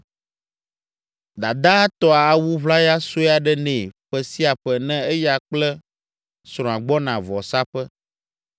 Dadaa tɔa awu ʋlaya sue aɖe nɛ ƒe sia ƒe ne eya kple srɔ̃a gbɔna vɔsaƒe.